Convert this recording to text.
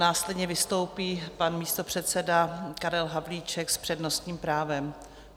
Následně vystoupí pan místopředseda Karel Havlíček s přednostním právem.